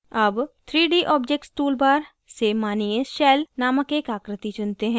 अब 3d objects toolbar से मानिये shell नामक एक आकृति चुनते हैं